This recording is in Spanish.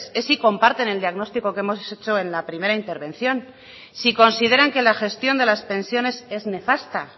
es si comparten el diagnóstico que hemos hecho en la primera intervención si consideran que la gestión de las pensiones es nefasta